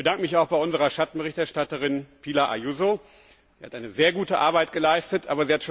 Ich bedanke mich auch bei unserer Schattenberichterstatterin, Pilar Ayuso, die sehr gute Arbeit geleistet hat.